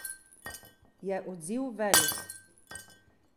Je odziv velik?